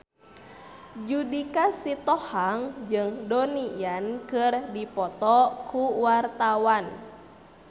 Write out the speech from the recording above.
Judika Sitohang jeung Donnie Yan keur dipoto ku wartawan